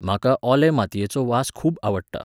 म्हाका ओले मातयेचो वास खूब आवडटा.